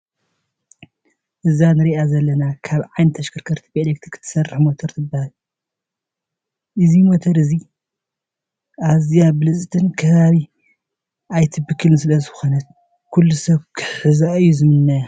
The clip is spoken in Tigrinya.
እዛ እንሪኣ ዘለና ካብ ዓይነታት ተሽከርከርቲ ብኤሌክትሪክ ትሰርሕ ሞተር ትበሃል። እዚ ሞቶር እዚ ኣዝያ ብልፅትን ከባቢ ዘይትብክልን ዝለኮነት ኩሉ ሰብ ክሕዛ እዩ ዝምነያ።